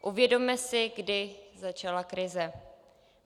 Uvědomme si, kdy začala krize.